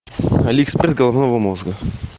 алиэкспресс головного мозга